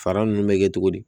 Fara ninnu bɛ kɛ cogo di